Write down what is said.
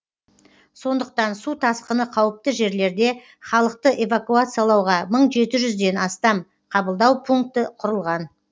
сондықтан су тасқыны қауіпті жерлерде халықты эвакуациялауға мың жеті жүзден астам қабылдау пункті құрылған